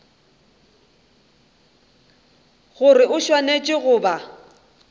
gore o swanetše go ba